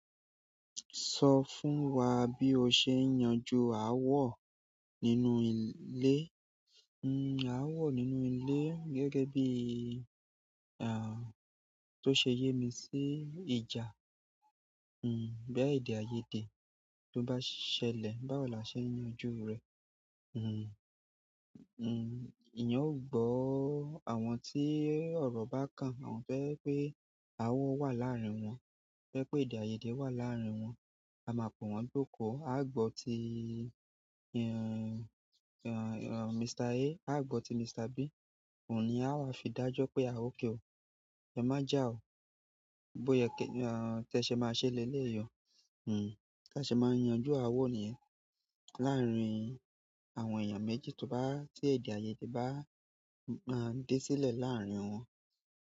Sọ fún wa bí o ṣe ń yanjú aáwọ nínú ilé. Aáwọ nínú ilé gẹ́gẹ́ bí, bó ṣe yé mi sí ìjà, bí èdè-àiyedé bobá ṣẹlẹ̀, bá wọ̀ lásẹ yanju rẹ. Ìyàn ò gbọ́ àwọn tí ọ̀rọ̀ bá kàn, àwọn to jẹ pé aáwọ wà láàárín wọn. Ti o jẹ́ pé èdè-àiyedé wà láàárín wọn. A máa pe wọ́n jókòó. A gbọ́ ti, Mr A, a gbọ́ ti Mr B. Òun ni a máa fi dájọ́ pé a ò kí o. Ẹ má jà o. Bó yẹ kẹ, tí ẹ ṣe máa ṣẹ lelé yi ọ. Tí ẹ ṣe máa yanjú aáwọ nìyẹn láàárín àwọn èèyàn méjì tó bá, tí èdè-àiyedé bá máa dé sílẹ̀ láàárín wọn.